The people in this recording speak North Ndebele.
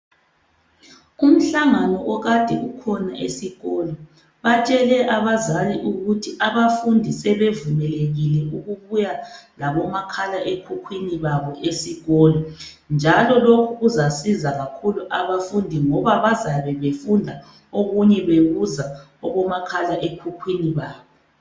Umhlangano okade ukhona esikolo ,batshele abazali ukuthi abafundi sebevumelekile ukubuya labomakhala ekhukhwini babo esikolo njalo lokhu kuzasiza kakhulu abafundi ngoba bazabe befunda okunye bebuza kubomakhala ekhukhwini babo.